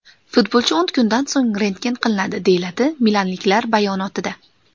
Futbolchi o‘n kundan so‘ng rentgen qilinadi”, deyiladi milanliklar bayonotida.